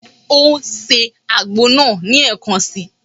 Ó ń se àgbo náà ní ẹ̀kan si.